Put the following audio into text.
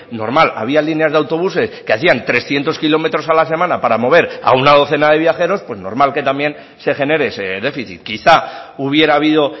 normal había líneas de autobuses que hacían trescientos kilómetros a la semana para mover a una docena de viajeros pues normal que también se genere ese déficit quizá hubiera habido